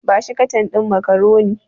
Ba shi katan ɗin macaroni.